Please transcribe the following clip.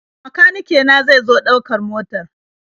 Makanike na zai zo ɗaukar motar.